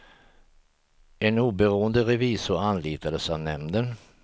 En oberoende revisor anlitades av nämnden.